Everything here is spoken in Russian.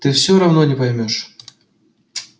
ты всё равно не поймёшь